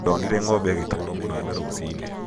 ndonire ng'ombe ĩgĩtwarwo mũnada rũcinĩ